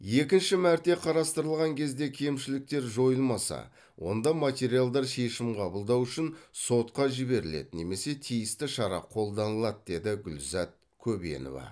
екінші мәрте қарастырылған кезде кемшіліктер жойылмаса онда материалдар шешім қабылдау үшін сотқа жіберіледі немесе тиісті шара қолданылады деді гүлзат көбенова